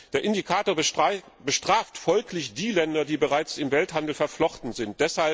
Der Indikator bestraft folglich die Länder, die bereits im Welthandel verflochten sind.